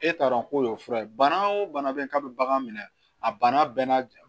E t'a dɔn ko fura ye bana o bana bɛ yen k'a bɛ bagan minɛ a banna bɛɛ n'a